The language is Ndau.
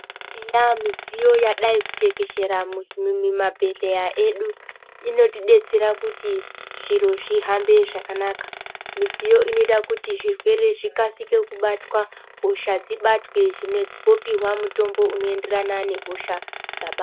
Eya midziyo yadai ku tekeshera mumi ma bhedhleya edu inoti detsera kuti zviro zvi hambe zvakanaka midziyo inoita kuti zvirwere zvikasike kubatwa hosha dzibatwe zvimwe wopihwa mutombo uno enderana ne hosha dzabatwa.